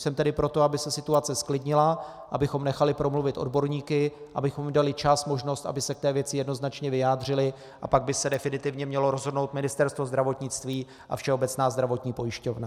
Jsem tedy pro to, aby se situace zklidnila, abychom nechali promluvit odborníky, abychom jim dali čas, možnost, aby se k té věci jednoznačně vyjádřili, a pak by se definitivně mělo rozhodnout Ministerstvo zdravotnictví a Všeobecná zdravotní pojišťovna.